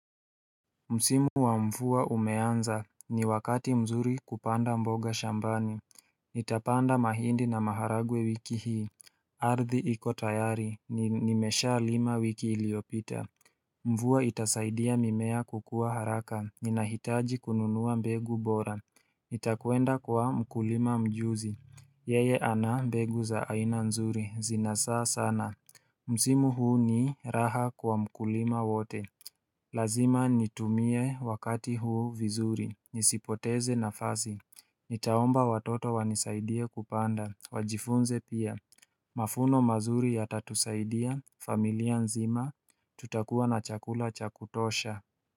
Msimu wa mvua umeanza ni wakati mzuri kupanda mboga shambani Nitapanda mahindi na maharagwe wiki hii Ardhi iko tayari nimesha lima wiki iliyopita. Mvua itasaidia mimea kukua haraka ninahitaji kununua mbegu bora Nitakwenda kwa mkulima mjuzi Yeye ana mbegu za aina nzuri zina zaa sana Msimu huu ni raha kwa mkulima wote Lazima nitumie wakati huu vizuri, nisipoteze nafasi, nitaomba watoto wanisaidie kupanda, wajifunze pia. Mavuno mazuri yatatusaidia familia nzima, tutakuwa na chakula cha kutosha.